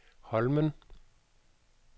Holmen